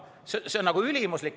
See on nagu ülimuslik.